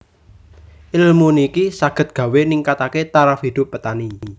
Ilmu niki saged gawé ningkatake taraf hidup petani